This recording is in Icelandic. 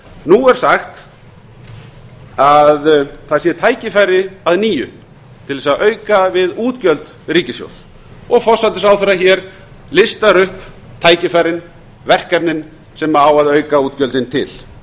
nú er sagt að það sé tækifæri að nýju til að auka við útgjöld ríkissjóðs og forsætisráðherra listar upp tækifærin verkefnin sem á að auka útgjöldin til